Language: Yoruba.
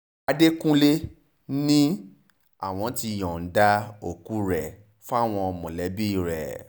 àdẹkùnlé ni àwọn ti yọ̀ǹda òkú rẹ̀ fáwọn mọ̀lẹ́bí rẹ̀